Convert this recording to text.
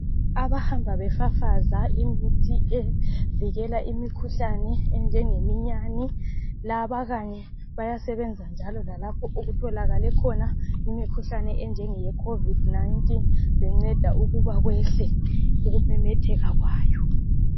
Abahamba befafaza imithi evikela imikhuhlane enjengeminyane, laba kanye bayasebenza njalo lapho okutholakale imikhuhlane enjenge khovidi nayintini benceda ukuba kwehle ukumemetheka kwayo.